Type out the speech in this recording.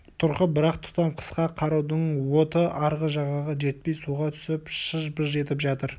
тұрқы бір-ақ тұтам қысқа қарудың оты арғы жағаға жетпей суға түсіп шыж-быж етіп жатыр